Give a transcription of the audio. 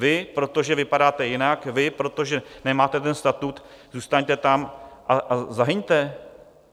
Vy, protože vypadáte jinak, vy, protože nemáte ten statut, zůstaňte tam a zahyňte?